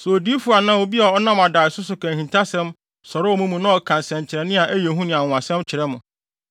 Sɛ odiyifo anaa obi a ɔnam adaeso so ka ahintasɛm sɔre wɔ mo mu na ɔka nsɛnkyerɛnne a ɛyɛ hu ne anwonwasɛm kyerɛ mo,